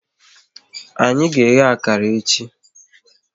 Anyị ga eghe akara echi